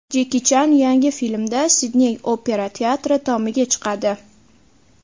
Jeki Chan yangi filmda Sidney opera teatri tomiga chiqadi.